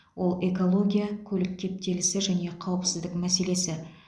ол экология көлік кептелісі және қауіпсіздік мәселесі